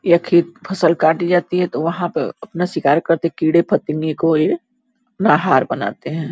यह खेत फसल काटी जाती है तो वहाँ क अपना शिकार करते। कीड़े-फतिंगे को ये नाहार बनाते हैं।